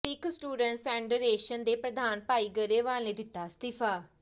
ਸਿੱਖ students federation ਦੇ ਪ੍ਰਧਾਨ ਭਾਈ ਗਰੇਵਾਲ ਨੇ ਦਿੱਤਾ ਅਸਤੀਫ਼ਾ